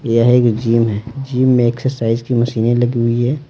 यह एक जिम है जिम में एक्सरसाइज की मशीनें लगी हुई है।